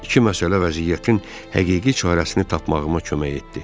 İki məsələ vəziyyətin həqiqi çarəsini tapmağıma kömək etdi.